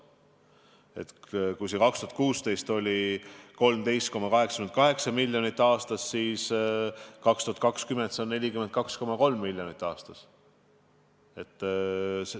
2016. aastal oli see 13,88 miljonit aastas, siis 2020. aastal see on 42,3 miljonit eurot.